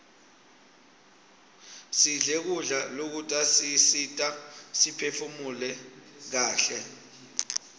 sidle kudla lokutasisita siphefumule kaihle